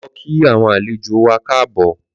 Lọ kí awọn àléjó wà káàbọ̀